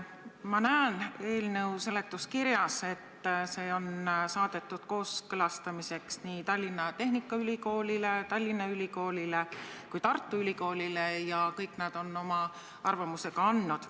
Ma näen eelnõu seletuskirjast, et see on saadetud kooskõlastamiseks nii Tallinna Tehnikaülikoolile, Tallinna Ülikoolile kui ka Tartu Ülikoolile ja kõik nad on oma arvamuse ka andnud.